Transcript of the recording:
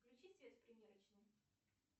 включи свет в примерочной